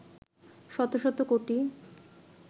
শত শত কোটি